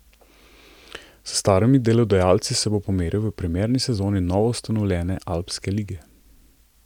S starimi delodajalci se bo pomeril v premierni sezoni novoustanovljene alpske lige.